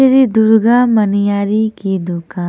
श्री दुर्गा मनियारी की दुकान--